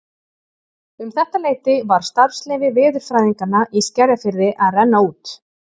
Um þetta leyti var starfsleyfi veðurfræðinganna í Skerjafirði að renna út.